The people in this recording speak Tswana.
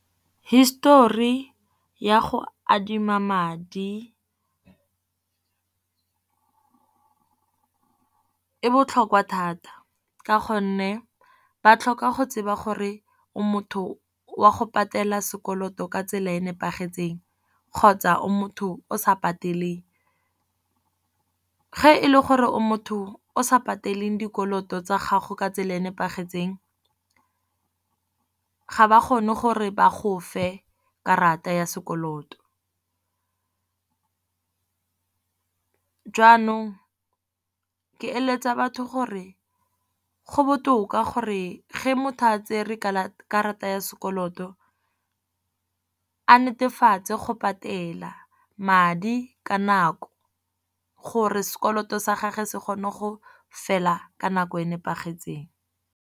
Histori ya go adima madi e botlhokwa thata ka gonne ba tlhoka go tseba gore o motho wa go patela sekoloto ka tsela e e nepagetseng. Kgotsa o motho o sa pateleng, ga e le gore o motho o sa pateleng dikoloto tsa gago ka tsela e e nepagetseng, ga ba kgone gore ba go fe karata ya sekoloto. Jaanong ke eletsa batho gore go botoka gore ge motho a tsere karata ya sekoloto, a netefatse go patela madi ka nako gore sekoloto sa gage se kgone go fela ka nako e nepagetseng.